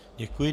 Děkuji.